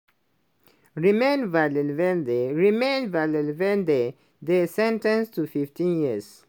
romain vandevelde romain vandevelde dey sen ten ced to 15 years.